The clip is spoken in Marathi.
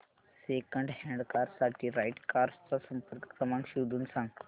सेकंड हँड कार साठी राइट कार्स चा संपर्क क्रमांक शोधून सांग